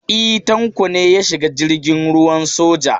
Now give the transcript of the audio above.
E, Tanko ne ya shiga jirgin ruwan soja.